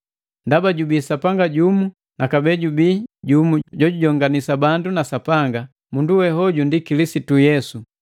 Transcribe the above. Ndaba jubii Sapanga jumu na kabee jubii jumu jojujonganisa bandu na Sapanga, mundu we hoju ndi Kilisitu Yesu,